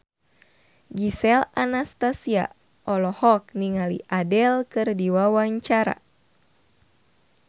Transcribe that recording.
Gisel Anastasia olohok ningali Adele keur diwawancara